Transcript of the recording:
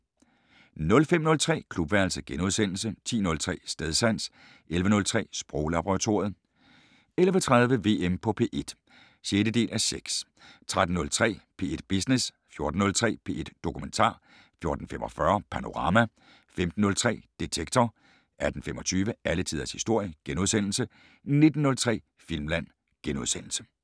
05:03: Klubværelset * 10:03: Stedsans 11:03: Sproglaboratoriet 11:30: VM på P1 (6:6) 13:03: P1 Business 14:03: P1 Dokumentar 14:45: Panorama 15:03: Detektor 18:25: Alle tiders historie * 19:03: Filmland *